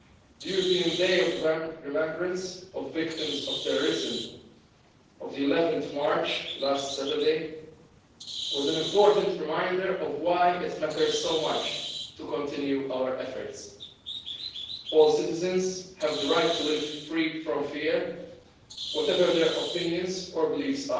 The European Day of Remembrance of Victims of Terrorism on 11 March last Saturday was an important reminder of why it matters so much to continue our efforts. All citizens have the right to live free from fear, whatever their opinions or beliefs.